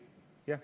Jah.